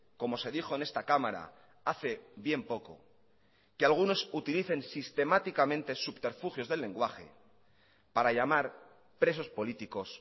como se dijo en esta cámara hace bien poco que algunos utilicen sistemáticamente subterfugios del lenguaje para llamar presos políticos